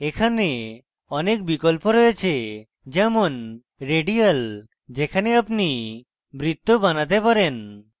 এখানে অনেক বিকল্প রয়েছে যেমন radial যেখানে আপনি বৃত্ত বানাতে পারেন